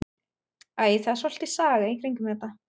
Æ, það er svolítil saga í kringum þetta.